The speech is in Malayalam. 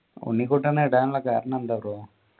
ഉണ്ണിക്കുട്ടൻ എന്നിടാനുള്ള കാരണം എന്താ ബ്രോ